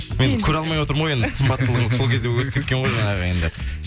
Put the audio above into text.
мен көре алмай отырмын ғой енді сымбаттылығыңыз сол кезде өтіп кеткен ғой жаңағы енді